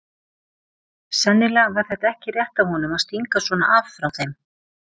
Sennilega var þetta ekki rétt af honum að stinga svona af frá þeim.